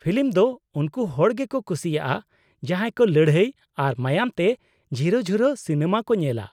Film ᱫᱚ ᱩᱱᱠᱩ ᱦᱚᱲ ᱜᱮᱠᱚ ᱠᱩᱥᱤᱭᱟᱜᱼᱟ ᱡᱟᱦᱟᱸᱭ ᱠᱚ ᱞᱟᱹᱲᱦᱟᱹᱭ ᱟᱨ ᱢᱟᱭᱟᱝ ᱛᱮ ᱡᱷᱤᱨᱚᱼᱡᱷᱚᱨᱚ ᱥᱤᱱᱮᱢᱟ ᱠᱚ ᱧᱮᱞᱟ ᱾